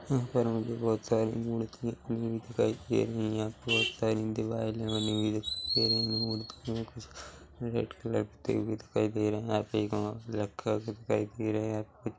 यहाँ पर मुझे बहोत सारी मूर्तियाँ दिखाई दे रही है बहोत सारी दीवारे बनी हुई दिखाई दे रही है मूर्तियों में कुछ रेड कलर की दिखाई दे रही है आपके गांव भी दिखाई दे रहे है।